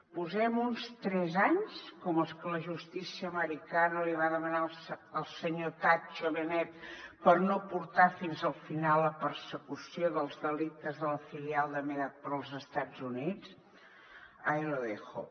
posem hi uns tres anys com els que la justícia americana li va demanar al senyor tatxo benet per no portar fins al final la persecució dels delictes de la filial de mediapro als estats units ahí lo dejo